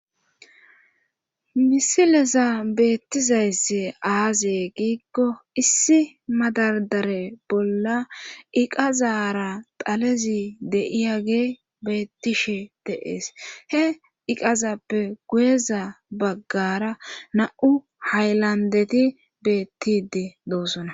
Misilezan beettizayssi aaze giikko issi madardareza bolla iqazara dhalezi de7iyagey beettishe de7ees he iqazappe guyeza baggaara na7u haylanddeti beettidi doosona.